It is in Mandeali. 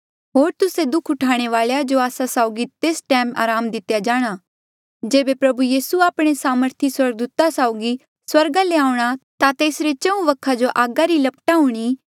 होर तुस्से दुःख उठाणे वालेया जो आस्सा साउगी तेस टैम अराम दितेया जाए जेबे प्रभु यीसू आपणे सामर्थी स्वर्गदूता साउगी स्वर्गा ले आऊंणा ता तेसरे चहूँ वखा जो आगी री लपटा हूणीं